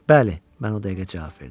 Bəli, mən o dəqiqə cavab verdim.